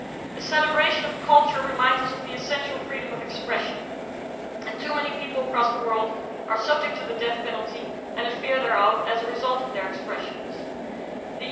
A celebration of culture reminds us of the essential freedom of expression, but too many people across the world are subject to the death penalty and a fear thereof as a result of the words that they have expressed.